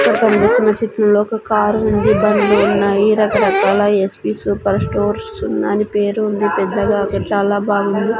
ఇక్కడ కనిపిస్తున్న చిత్రంలో ఒక కారు ఉంది బండ్లు ఉన్నాయి రకరకాల ఎస్_పి సూపర్ స్టోర్స్ అని పేరు ఉంది పెద్దగా అక్కడ చాలా బాగుంది.